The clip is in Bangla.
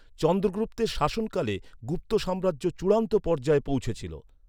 চন্দ্রগুপ্তের শাসনকালে গুপ্ত সাম্রাজ্য চূড়ান্ত পর্যায়ে পৌঁছেছিল।